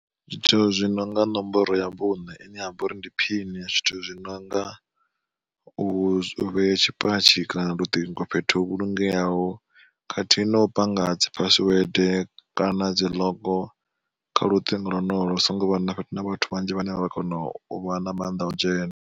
Zwithu zwi nonga nomboro ya vhuṋe ine yavha uri ndi phini, zwithu zwi nonga u vhea tshipatshi kana luṱingo fhethu ho vhulungeaho khathihi no panga dzi phasiwede kana dzi ḽogo kha luṱingo lonolo hu songo vha na vhathu vhanzhi vhane vha vha kona u vha na mannḓa o dzhena.